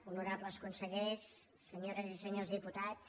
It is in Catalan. honorables consellers senyores i senyors diputats